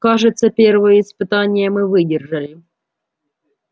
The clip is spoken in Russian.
кажется первое испытание мы выдержали